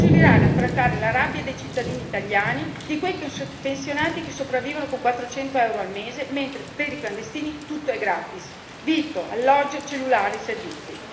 Non si servirà a placare la rabbia dei cittadini italiani, di quei pensionati che sopravvivono con 400 euro al mese mentre per i clandestini tutto è gratis vitto, alloggio, cellulare, servizi.